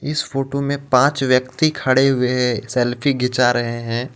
इस फोटो में पांच व्यक्ति खड़े हुए हे सेल्फी खीचा रहे हे.